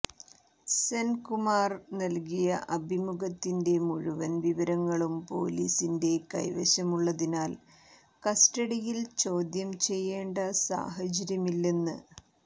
സെൻകുമാർ നൽകിയ അഭിമുഖത്തിന്റെ മുഴുവൻ വിവരങ്ങളും പൊലിസിന്റെ കൈവശമുള്ളതിനാൽ കസ്റ്റഡിയിൽ ചോദ്യം ചെയ്യേണ്ട സാഹചര്യമില്ലെന്ന്